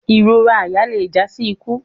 Irora àyà le ja si iku